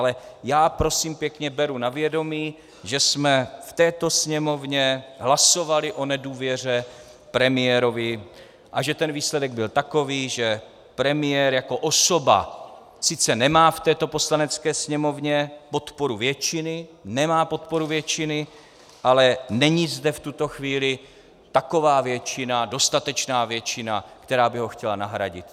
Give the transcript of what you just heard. Ale já, prosím pěkně, beru na vědomí, že jsme v této Sněmovně hlasovali o nedůvěře premiérovi a že ten výsledek byl takový, že premiér jako osoba sice nemá v této Poslanecké sněmovně podporu většiny, nemá podporu většiny, ale není zde v tuto chvíli taková většina, dostatečná většina, která by ho chtěla nahradit.